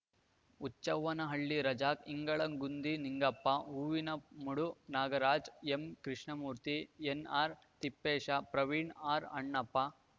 Huchchavvanahalli Razak ಇಂಗಳಗುಂದಿ Ningappa Hoovinamadu Nagaraja ಎಂಕೃಷ್ಣಮೂರ್ತಿ ಎನ್‌ಆರ್‌ತಿಪ್ಪೇಶ Praveen ಆರ್‌ಅಣ್ಣಪ್ಪ